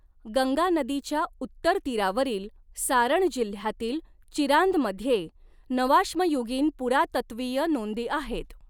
गंगा नदीच्या उत्तर तीरावरील सारण जिल्ह्यातील चिरांदमध्ये नवाश्मयुगीन पुरातत्त्वीय नोंदी आहेत.